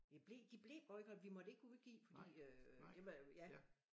Vi blev de blev boykottet vi måtte ikke udgive fordi øh det med ja